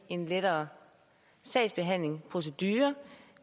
en lettere sagsbehandlingsprocedure